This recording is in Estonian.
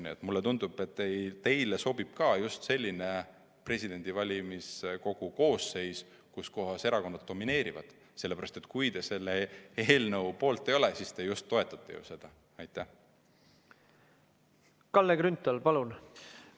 Kuid mulle tundub, et ka teile sobib just selline valimiskogu koosseis, kus erakonnad domineerivad, sellepärast et kui te selle eelnõu poolt ei ole, siis te ju toetate seda.